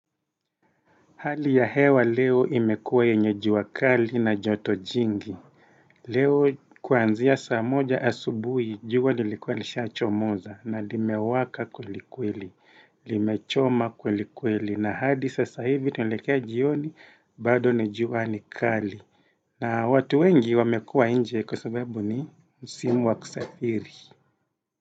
Hali ya hewa leo imekuwa yenye jua kali na joto jingi. Leo kuanzia saa moja asubuhi, jua lilikuwa lisha chomoza na limewaka kweli kweli, limechoma kweli kweli. Na hadi sasa hivi tunaelekea jioni, bado ni jua ni kali. Na watu wengi wamekuwa nje kwa sababu ni msimu wa kusafiri.